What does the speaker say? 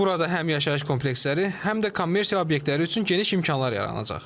Burada həm yaşayış kompleksləri, həm də kommersiya obyektləri üçün geniş imkanlar yaranacaq.